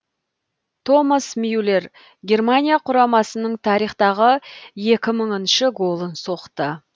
томас мюллер германия құрамасының тарихтағы екі мыңыншы голын соқты